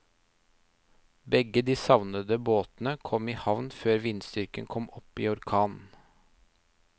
Begge de savnede båtene kom i havn før vindstyrken kom opp i orkan.